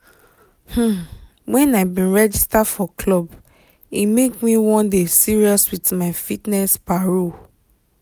when i bin register for club e make me wan dey serious with my fitness paro